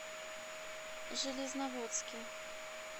железноводске